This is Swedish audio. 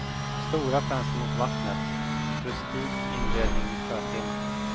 Stora fönster mot vattnet, rustik inredning med sjötema.